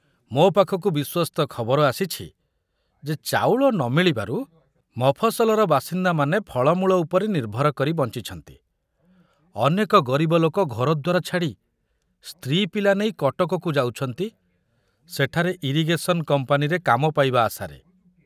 ମୋ ପାଖକୁ ବିଶ୍ବସ୍ତ ଖବର ଆସିଛି ଯେ ଚାଉଳ ନ ମିଳିବାରୁ ମଫସଲର ବାସିନ୍ଦାମାନେ ଫଳମୂଳ ଉପରେ ନିର୍ଭର କରି ବଞ୍ଚୁଛନ୍ତି ଅନେକ ଗରିବ ଲୋକ ଘରଦ୍ୱାର ଛାଡ଼ି ସ୍ତ୍ରୀ ପିଲା ନେଇ କଟକକୁ ଯାଉଛନ୍ତି ସେଠାରେ ଇରିଗେଶନ କମ୍ପାନୀରେ କାମ ପାଇବା ଆଶାରେ।